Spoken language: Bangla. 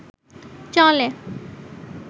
চলে